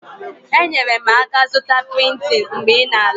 Enyere m aka zụta Piriton mgbe ị na-ala.